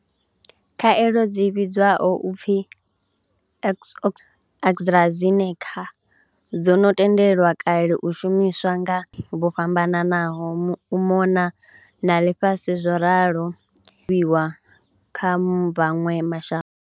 Khaelo dzi vhidzwaho u pfi Oxford University-AstraZeneca dzo no tendelwa kale u shumiswa nga vho fhambananaho u mona na ḽifhasi zworalo dzi khou kovhiwa kha maṅwe ma shango.